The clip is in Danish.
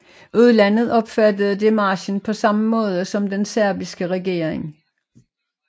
Udlandet opfattede démarchen på samme måde som den serbiske regering